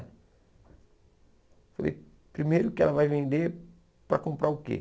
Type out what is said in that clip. Eu falei, primeiro que ela vai vender para comprar o quê?